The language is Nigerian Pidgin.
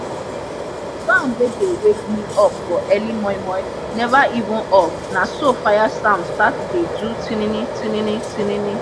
sound wey dey wake me up for early momo neva even off naso fire sound start dey do tinini tininitinini